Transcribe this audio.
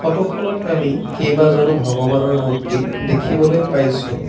ফটোখনত আমি কেইবাজনো ভগবানৰ মূৰ্তি দেখিবলৈ পাইছোঁ।